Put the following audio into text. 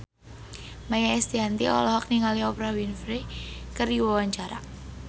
Maia Estianty olohok ningali Oprah Winfrey keur diwawancara